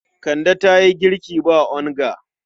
Kande ta yi girki ba onga.